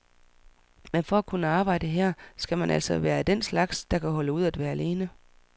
Men for at kunne arbejde her skal man altså være af den slags, der kan holde ud at være alene.